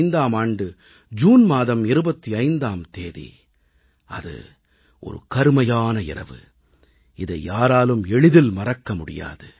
1975ஆம் ஆண்டு ஜூன் மாதம் 25ஆம் தேதி அது ஒரு கருமையான இரவு இதை யாராலும் எளிதில் மறக்க முடியாது